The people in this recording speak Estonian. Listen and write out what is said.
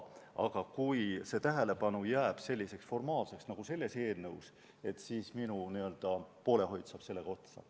Aga kui see tähelepanu jääb selliseks formaalseks nagu selles eelnõus, siis minu poolehoid saab otsa.